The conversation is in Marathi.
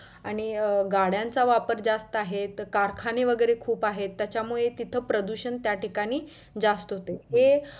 आणि गाड्यांचा वापर जास्त आहे. आणि कारखाने वगैरे खूप आहेत. त्याच्यामुळे तिथं प्रदुषण त्या ठिकाणी जास्त होतं.